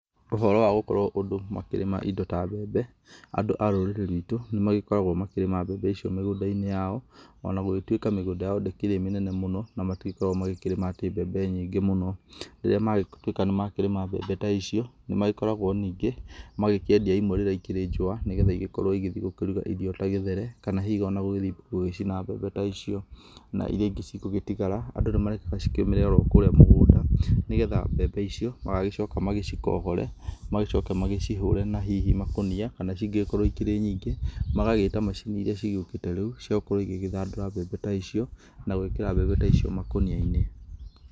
Ũhoro wa gũkorwo andũ makĩrĩma indo ta mbembe: Andũ arũrĩrĩ ruitwũ nĩ magĩkoragwo makĩrĩma mbembe icio mĩgũnda-inĩ yao, onagũgĩtwĩka mĩgũnda yao ndĩkĩrĩ mĩnene mũno. Nomatikoragwo makĩrĩma atĩ mbembe nyingĩ mũno. Rĩrĩa magĩtuĩka atĩ nĩmakĩrĩma mbembe ta ĩcio, nĩmagĩkoragwo ninge magĩkĩendia imwe, rĩrĩa ikĩrĩ njowa nĩgetha igĩkorwo igĩthie kurugwo irio ta gĩthere kana hihi gũthie gũgĩcina mbembe ta icio na iria ingĩ cigũtigara andũ nimarekaga cikĩũmire okurĩa mũgũnda ,nĩgetha mbembe icio magagĩcoka macikohore, magĩcoke macihurĩ na hihi na makonia. Kana cingĩkorwo cikĩrĩ nyingĩ magagĩta macini irĩa cigĩũkĩte rĩu cia gukorwo cigĩthandũra mbembe ta icio na gwĩkĩra mbembe ta icio makonia.